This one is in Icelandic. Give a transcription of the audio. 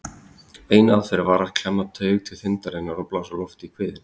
Ein aðferðin var að klemma taug til þindarinnar og blása lofti í kviðinn.